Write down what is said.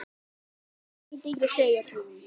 Að endingu segir hún